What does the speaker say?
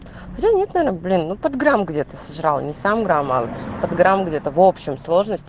блин ну де-то сожрала не самарамалт где-то в общем